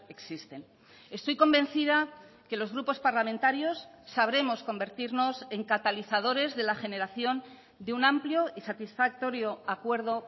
existen estoy convencida que los grupos parlamentarios sabremos convertirnos en catalizadores de la generación de un amplio y satisfactorio acuerdo